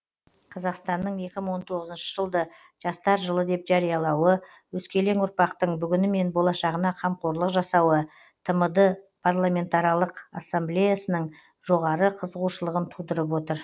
қазақстанның екі мың он тоғызыншы жылды жастар жылы деп жариялауы өскелең ұрпақтың бүгіні мен болашағына қамқорлық жасауы тмд парламентаралық ассамблеясының жоғары қызығушылығын тудырып отыр